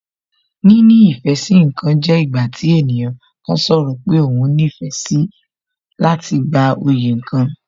Níní ìfẹ́ sí ǹkan jẹ́ ìgbà tí ènìyàn kan sọ̀rọ̀ pé òhun nífẹ̀ẹ́ síi láti gba oyè kan